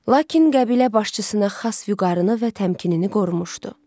Lakin qəbilə başçısına xas vüqarıını və təmkinini qorumuşdu.